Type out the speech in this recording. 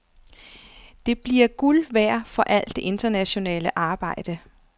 Det vil blive guld værd for al det internationale arbejde.